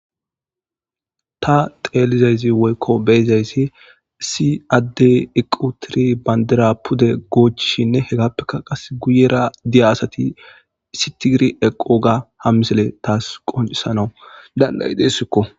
Ta xeelizayzi woykko beyizayssi si adde iqu tiri bandira pude goochishinne hegappeka qas guyera diya asati isitigir eqo ga hammisele taas qonisanau dan7ayi deessikko